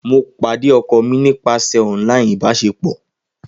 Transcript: Mo pade ọkọ mi nipasẹ online ibaṣepọ.